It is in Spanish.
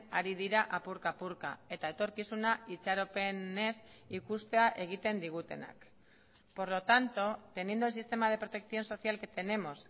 ari dira apurka apurka eta etorkizuna itxaropenez ikustea egiten digutenak por lo tanto teniendo el sistema de protección social que tenemos